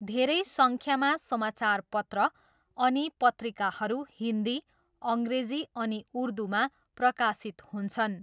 धेरै सङ्ख्यामा समाचारपत्र अनि पत्रिकाहरू हिन्दी, अङ्ग्रेजी अनि उर्दूमा प्रकाशित हुन्छन्।